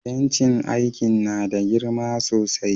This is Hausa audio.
Bencin aikin na da girma sosai.